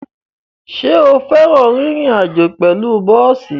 Ṣo fẹ́ràn rírin àjó pẹ̀lú bọ́ọ̀sì?